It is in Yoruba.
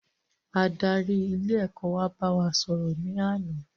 Adarí ilé ẹ̀kọ́ wa bá wa sò rò ní àná